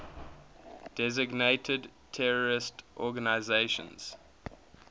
designated terrorist organizations